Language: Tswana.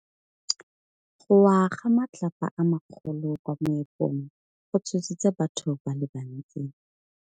Go wa ga matlapa a magolo ko moepong go tshositse batho ba le bantsi.